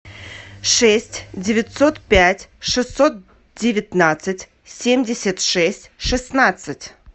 шесть девятьсот пять шестьсот девятнадцать семьдесят шесть шестнадцать